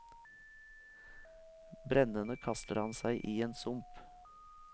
Brennende kaster han seg i en sump.